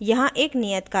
यहाँ एक नियत कार्य है